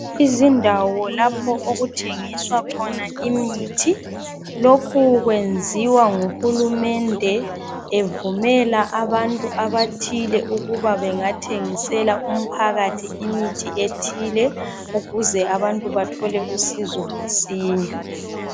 Izindawo lapho okuthengiswa khona imithi lokhu kwenziwa nguhulumende evumela abantu abathile ukuba bengathengisela umphakathi imithi ethile ukuze abantu bathole usizo mansinya